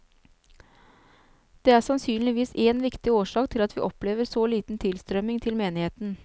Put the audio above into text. Det er sannsynligvis én viktig årsak til at vi opplever så liten tilstrømming til menigheten.